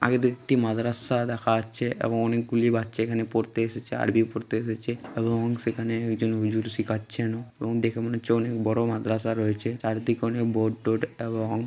আগে দুইটি মাদ্রাসা দেখাচ্ছে এবং অনেকগুলি বাচ্চা এখানে পড়তে এসেছে আরবি পড়তে এসেছে এবং সেখানে একজন হুজুর শিখাচ্ছেনও এবং দেখে মনে হচ্ছে অনেক বড় মাদ্রাসা রয়েছে চারদিকে অনেক বোর্ড টর্ড এবং--